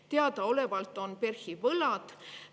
Teadaolevalt on PERH‑il võlad.